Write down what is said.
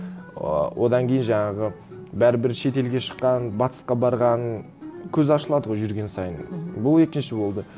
ы одан кейін жаңағы бәрібір шетелге шыққан батысқа барған көз ашылады ғой жүрген сайын мхм бұл екінші болды